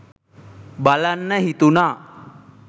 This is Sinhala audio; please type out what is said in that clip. බලන්න හිතුනා